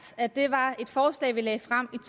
at det var et forslag vi lagde frem